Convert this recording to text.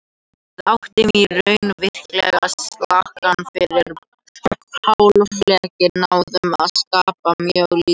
Við áttum í raun virkilega slakan fyrri hálfleik, náðum að skapa mjög lítið.